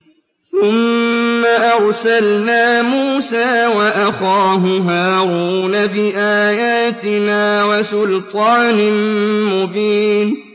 ثُمَّ أَرْسَلْنَا مُوسَىٰ وَأَخَاهُ هَارُونَ بِآيَاتِنَا وَسُلْطَانٍ مُّبِينٍ